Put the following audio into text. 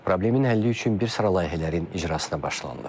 Problemin həlli üçün bir sıra layihələrin icrasına başlanılıb.